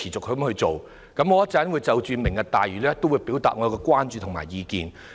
我稍後會就"明日大嶼"計劃表達我們的關注和意見。